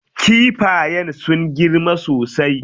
Kifayen sun girma sosai.